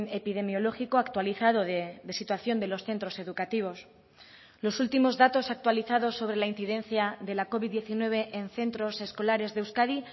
epidemiológico actualizado de situación de los centros educativos los últimos datos actualizados sobre la incidencia de la covid diecinueve en centros escolares de euskadi